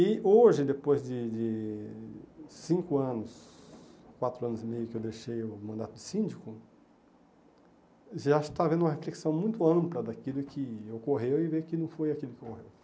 E hoje, depois de de cinco anos, quatro anos e meio que eu deixei o mandato de síndico, já está havendo uma reflexão muito ampla daquilo que ocorreu e ver que não foi aquilo que ocorreu.